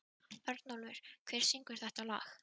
Örnólfur, hver syngur þetta lag?